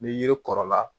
Ni yiri kɔrɔla